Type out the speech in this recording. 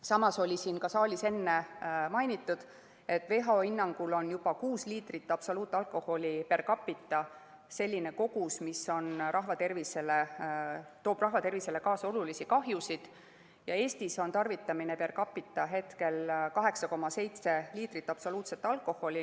Samas siin saalis enne mainiti, et WHO hinnangul on juba kuus liitrit absoluutalkoholi per capita selline kogus, mis toob rahvatervisele kaasa olulisi kahjusid, aga Eestis tarvitatakse per capita 8,7 liitrit absoluutset alkoholi.